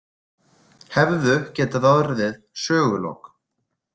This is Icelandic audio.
Hefðu getað orðið sögulok.